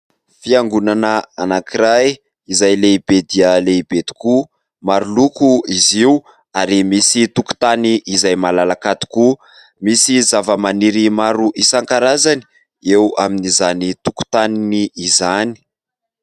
Fiangonana anankiray izay lehibe dia lehibe tokoa maro loko izy io ary misy tokontany izay malalaka tokoa, misy zava-maniry maro isan-karazany eo amin'izany tokontany izany.